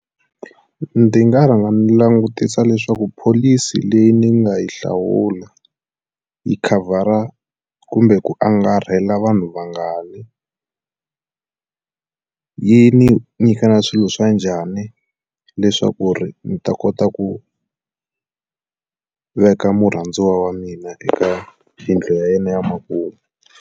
Ndzi nga rhanga ndzi langutisa leswaku pholisi leyi ni nga yi hlawula yi khavhara kumbe ku angarhela vanhu vangani yi ni nyika na swilo swa njhani leswaku ku ri ndzi ta kota ku veka murhandziwa wa mina eka yindlu ya yena ya makumu.